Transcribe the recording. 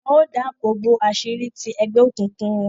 Wọn o dáàbòbo aṣiri ti egbeokunkun wọn